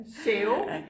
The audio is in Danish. Sæbe